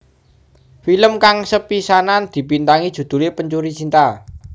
Film kang sepisanan dibintangi judhulé Pencuri Cinta